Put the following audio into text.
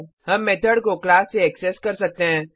हम मेथड को क्लास से एक्सेस कर सकते हैं